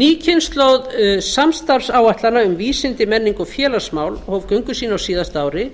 ný kynslóð samstarfsáætlana um vísindi menningu og félagsmál hóf göngu sína á síðasta ári